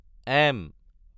M